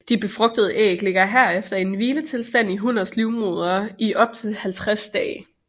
De befrugtede æg ligger herefter i en hviletilstand i hunnens livmoder i op til 50 dage